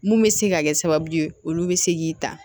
Mun bɛ se ka kɛ sababu ye olu bɛ se k'i ta